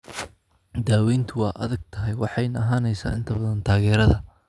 Daaweyntu waa adag tahay waxayna ahaanaysaa inta badan taageerada.